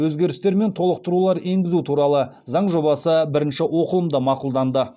өзгерістер мен толықтырулар енгізу туралы заң жобасы бірінші оқылымда мақұлданды